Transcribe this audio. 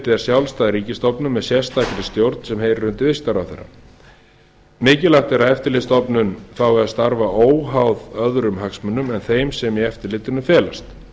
er sérstök stjórn sem heyrir undir viðskiptaráðherra mikilvægt er að eftirlitsstofnun fái að starfa óháð öðrum hagsmunum en þeim sem sem í eftirlitinu felast